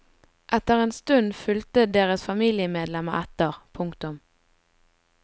Etter en stund fulgte deres familiemedlemmer etter. punktum